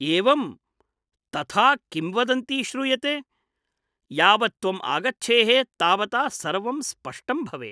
एवम् ! तथा किंवदन्ती श्रूयते । यावत् त्वम् आगच्छेः तावता सर्वं स्पष्टं भवेत् ।